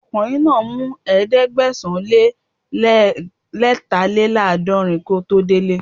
Ọkùnrin náà mú Ẹ̀ẹ́dẹ̀gbẹ̀sán-lé-lẹ́tàléláàdọ̀rin kí ó tó dele